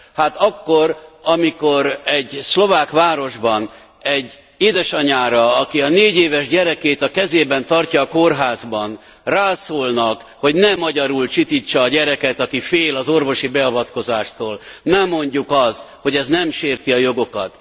Hát akkor, amikor egy szlovák városban egy édesanyára, aki a 4 éves gyerekét a kezében tartja a kórházban, rászólnak, hogy ne magyarul csitítsa a gyereket, aki fél az orvosi beavatkozástól, ne mondjuk azt, hogy ez nem sérti a jogokat.